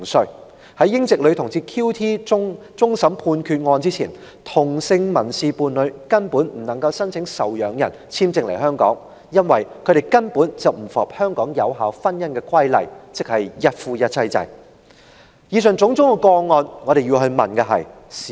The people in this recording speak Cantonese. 事實上，在英籍女同志 QT 案終審判決前，同性民事伴侶根本不能申請受養人簽證來港，因為他們不符合香港有效婚姻的規例，即一夫一妻制的要求。